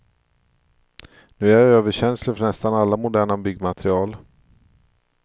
Nu är jag överkänslig för nästan alla moderna byggmaterial.